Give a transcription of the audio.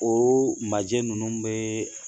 O majɛ ninnu bɛ